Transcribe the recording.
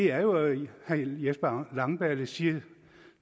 er jo at herre jesper langballe siger